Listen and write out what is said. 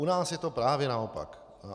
U nás je to právě naopak.